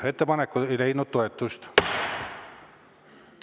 Ettepanek ei leidnud toetust.